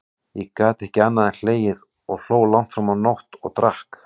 Ég gat ekki annað en hlegið, ég hló langt fram á nótt, og drakk.